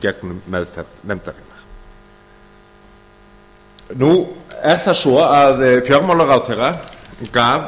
gegnum meðferð nefndarinnar nú er það svo að fjármálaráðherra gaf